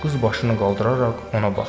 Qız başını qaldıraraq ona baxdı.